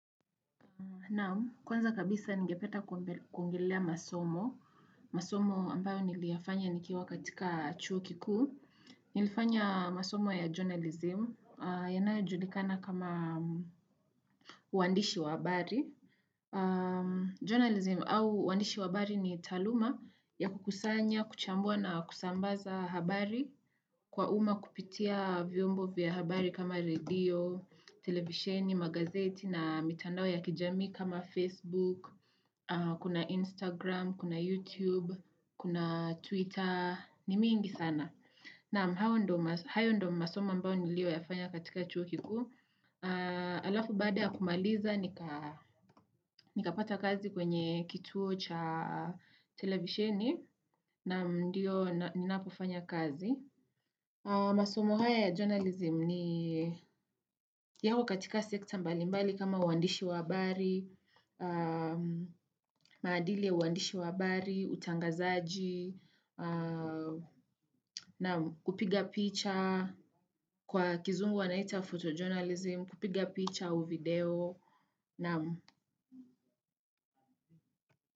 Naam, kwanza kabisa ningependa kuongelea masomo. Masomo ambayo niliyafanya nikiwa katika chuo kikuu. Nilifanya masomo ya journalism. Yanayojulikana kama waandishi wa habari. Journalism au waandishi wa habari ni taaluma ya kukusanya, kuchambua na kusambaza habari kwa umma kupitia vyombo vya habari kama redio, televisheni, magazeti na mitandao ya kijamii kama Facebook Kuna Instagram, kuna YouTube, kuna Twitter, ni mingi sana na hayo ndio masomo ambayo niliyoyafanya katika chuo kikuu na alafu baada ya kumaliza nika nikapata kazi kwenye kituo cha televisheni na ndio ninapofanya kazi masomo haya ya journalism ni yapo katika sekta mbalimbali kama uandishi wa habari maadili ya uandishi wabari utangazaji naam, kupiga picha, kwa kizungu wanaita photo journalism, kupiga picha au video, naam.